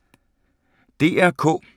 DR K